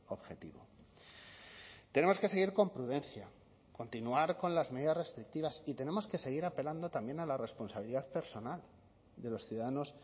objetivo tenemos que seguir con prudencia continuar con las medidas restrictivas y tenemos que seguir apelando también a la responsabilidad personal de los ciudadanos